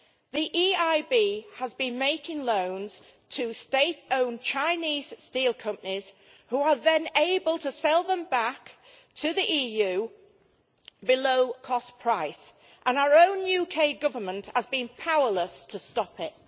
The EIB has been making loans to state owned Chinese steel companies who are then able to sell back to the EU below cost price, and our own UK Government has been powerless to stop it.